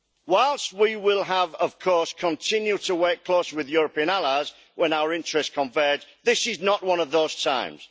Whilst we will of course continue to work closely with European allies when our interests converge, this is not one of those times.